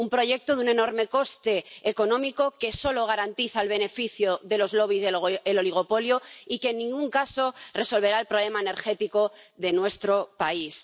Un proyecto de un enorme coste económico que solo garantiza el beneficio de los lobbies del oligopolio, y que en ningún caso resolverá el problema energético de nuestro país.